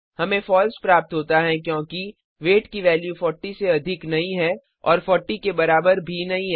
हमें फॉल्स प्राप्त होता है क्योंकि वेट की वैल्यू 40 से अधिक नहीं है और 40 के बराबर भी नहीं है